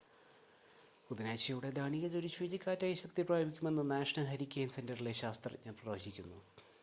ബുധനാഴ്ചയോടെ Daniel ഒരു ചുഴലിക്കാറ്റായി ശക്തിപ്രാപിക്കുമെന്ന് നാഷണൽ ഹരിക്കെയിൻ സെൻ്ററിലെ ശാസ്ത്രജ്ഞർ പ്രവചിക്കുന്നു